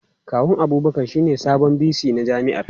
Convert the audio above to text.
Kawun Abubakar shine sabon VC na jami'ar.